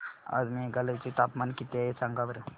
आज मेघालय चे तापमान किती आहे सांगा बरं